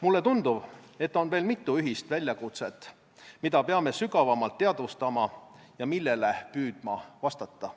Mulle tundub, et on veel mitu ühist väljakutset, mida peame sügavamalt teadvustama ja millele püüdma vastata.